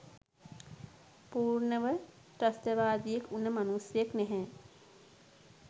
පූර්ණව ත්‍රස්තවාදියෙක් වුන මනුස්සයෙක් නැහැ.